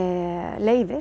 leyfi